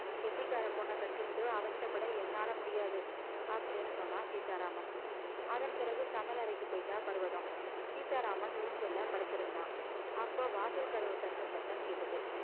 கெட்டிக்கார பொண்ண கட்டிண்டு அவஸ்தப்பட என்னால முடியாது அப்படீன்னு சொன்னான் சீதாராமன் அதன் பிறகு சமையலறைக்கு போயிட்டா பர்வதம் சீதாராமன் ஊஞ்சல்ல படுத்திருந்தான் அப்போ வாசல் கதவு தட்டும் சத்தம் கேட்டது